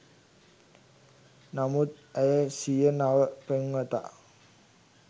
නමුත් ඇය සිය නව පෙම්වතා